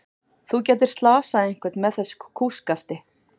Þú gætir slasað einhvern með þessu kústskafti.